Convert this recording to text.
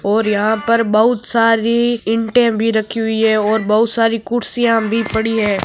और यह पर बहुत सारी ईटे रखी हुई हैं और बहुत सारी कुरसिया भी पड़ी हैं।